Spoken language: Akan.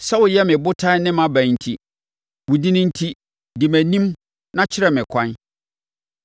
Sɛ woyɛ me botan ne mʼaban enti, wo din enti, di mʼanim na kyerɛ me ɛkwan.